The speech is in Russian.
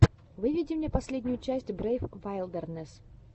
выведи мне последнюю часть брейв вайлдернесс